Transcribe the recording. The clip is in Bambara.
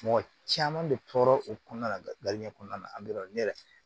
Mɔgɔ caman bɛ tɔɔrɔ o kɔnɔna la kɔnɔna na ne yɛrɛ